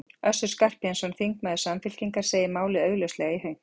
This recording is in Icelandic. Össur Skarphéðinsson, þingmaður Samfylkingar, segir málið augljóslega í hönk.